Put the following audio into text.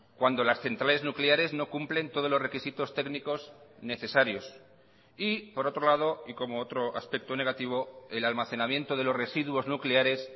cuando las centrales nucleares no cumplen todos los requisitos técnicos necesarios y por otro lado y como otro aspecto negativo el almacenamiento de los residuos nucleares